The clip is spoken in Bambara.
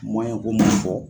Mɔyɛnko mana fɔ